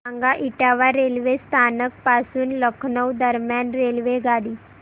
सांगा इटावा रेल्वे स्थानक पासून लखनौ दरम्यान रेल्वेगाडी